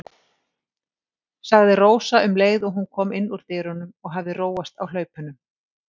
sagði Rósa um leið og hún kom inn úr dyrunum og hafði róast á hlaupunum.